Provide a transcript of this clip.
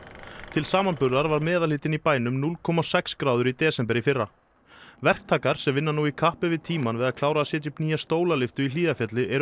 til samanburðar var meðalhiti í bænum núll komma sex gráður í desember í fyrra verktakar sem vinna nú í kappi við tímann við að klára að setja upp nýja stólalyftu í Hlíðarfjalli eru